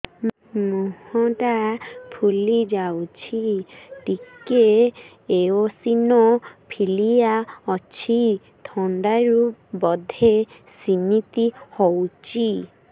ମୁହଁ ଟା ଫୁଲି ଯାଉଛି ଟିକେ ଏଓସିନୋଫିଲିଆ ଅଛି ଥଣ୍ଡା ରୁ ବଧେ ସିମିତି ହଉଚି